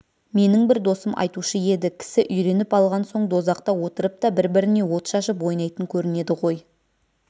менің бір досым айтушы еді кісі үйреніп алған соң дозақта отырып та бір-біріне от шашып ойнайтын көрінеді ғой